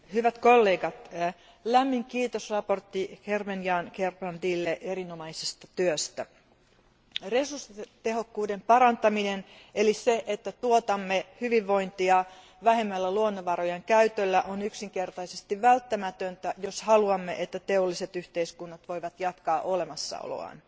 Arvoisa puhemies, hyvät kollegat, lämmin kiitos esittelijä Gerben Jan Gerbrandylle erinomaisesta työstä. Resurssitehokkuuden parantaminen eli se, että tuotamme hyvinvointia vähemmällä luonnonvarojen käytöllä, on yksinkertaisesti välttämätöntä, jos haluamme, että teolliset yhteiskunnat voivat jatkaa olemassaoloaan.